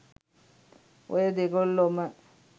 ඔය දෙගොල්ලොම